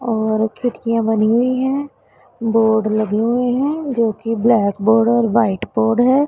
और खिड़कियां बनी हुई है बोर्ड लगे हुए हैं जो की ब्लैक बोर्ड और व्हाइट बोर्ड है।